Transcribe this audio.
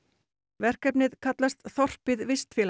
verkefnið kallast þorpið